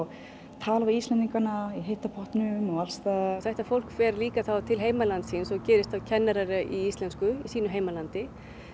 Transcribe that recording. tala við Íslendinga í heitu pottunum og alls staðar þetta fólk fer líka til heimalands síns gerist kennarar í íslensku í sínu heimalandi